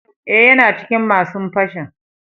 Eh, yana cikin masun fashin.